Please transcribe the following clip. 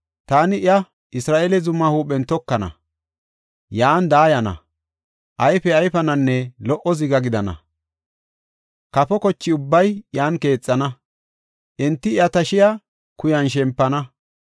Taani iya Isra7eele zumaa huuphen tokana; yan daayana; ayfe ayfananne lo77o ziga gidana. Kafo koche ubbay iyan keexana; enti iya tashiya kuyan shempana.